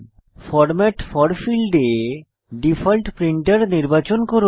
format for ফীল্ডে default printer নির্বাচন করুন